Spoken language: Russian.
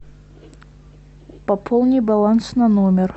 пополни баланс на номер